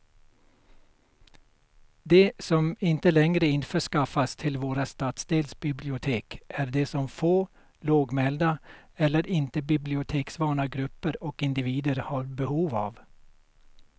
Det som inte längre införskaffas till våra stadsdelsbibliotek är det som få, lågmälda eller inte biblioteksvana grupper och individer har behov av.